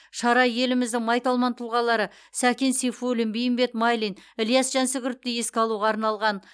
шара еліміздің майталман тұлғалары сәкен сейфуллин беймбет майлин ілияс жансүгіровті еске алуға арналған